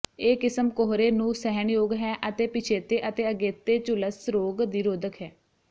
ਇਹ ਕਿਸਮ ਕੋਹਰੇ ਨੂੰ ਸਹਿਣਯੋਗ ਹੈ ਅਤੇ ਪਿਛੇਤੇ ਅਤੇ ਅਗੇਤੇ ਝੁਲਸ ਰੋਗ ਦੀ ਰੋਧਕ ਹੈ